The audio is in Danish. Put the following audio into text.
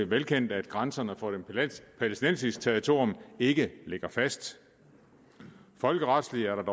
velkendt at grænserne for et palæstinensisk territorium ikke ligger fast folkeretsligt